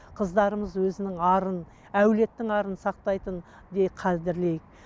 қыздарымыз өзінің арын әулеттің арын сақтайтын қадірлейік